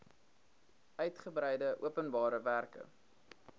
uigebreide openbare werke